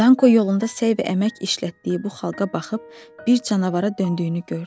Danqo yolunda səy və əmək işlətdiyi bu xalqa baxıb bir canavara döndüyünü gördü.